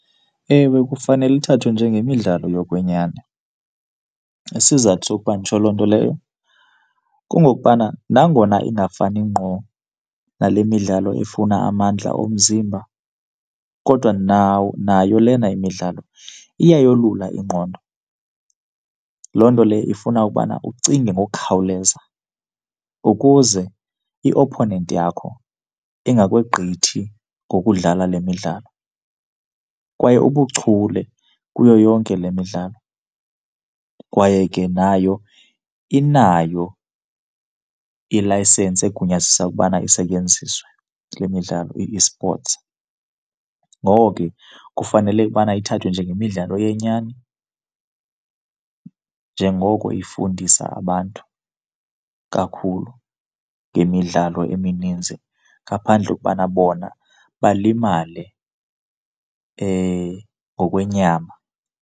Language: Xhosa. Ewe, kufanele ithathwe njengemidlalo yokwenyani. Isizathu sokuba nditsho loo nto leyo kungokubana nangona ingafani ngqo nale midlalo efuna amandla omzimba kodwa nayo lena imidlalo iyayolula ingqondo. Loo nto leyo ifuna ubana ucinge ngokukhawuleza, ukuze i-opponent yakho ingakwegqithi ngokudlala le midlalo. Kwaye ubuchule kuyo yonke le midlalo. Kwaye ke nayo inayo ilayisensi egunyazisa ukubana isetyenziswe kule midlalo, i-esports. Ngoko ke kufanele ubana ithathwe njengemidlalo yenyani, njengoko ifundisa abantu kakhulu ngemidlalo emininzi ngaphandle kokubana bona balimale ngokwenyama.